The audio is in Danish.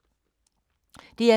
DR K